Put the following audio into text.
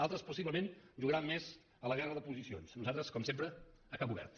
altres possiblement jugaran més a la guerra de posicions nosaltres com sempre a camp obert